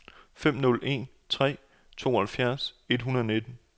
fem nul en tre tooghalvfjerds et hundrede og nitten